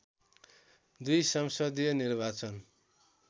२ संसदीय निर्वाचन